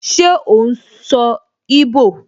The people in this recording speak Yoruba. Ṣé ó n sọ íbò?